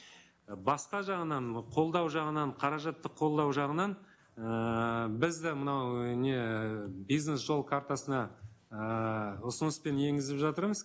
і басқа жағынан қолдау жағынан қаражатты қолдау жағынан ііі біз де мынау не ііі бизнес жол картасына ыыы ұсыныспен енгізіп жатырмыз